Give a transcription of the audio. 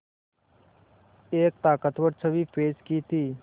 एक ताक़तवर छवि पेश की थी